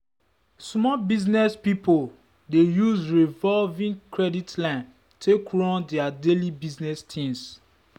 small business people dey use revolving credit line take run their daily business things.